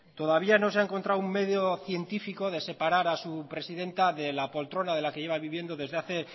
todavía no se ha encontrado un medio científico de separar a su presidenta de la poltrona de la que lleva viviendo desde hace